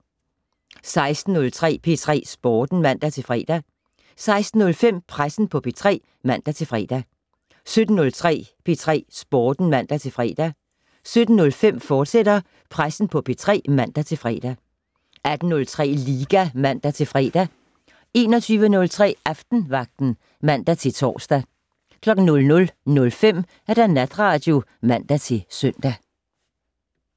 16:03: P3 Sporten (man-fre) 16:05: Pressen på P3 (man-fre) 17:03: P3 Sporten (man-fre) 17:05: Pressen på P3, fortsat (man-fre) 18:03: Liga (man-fre) 21:03: Aftenvagten (man-tor) 00:05: Natradio (man-søn)